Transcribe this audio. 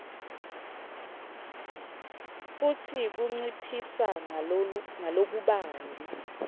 futsi kunciphisa ngalokubanti